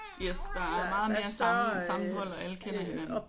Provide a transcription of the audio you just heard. Yes der er meget mere sammenhold og alle kender hinanden